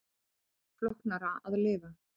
Öllu flóknara að lifa.